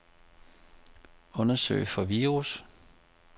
Undersøg for virus.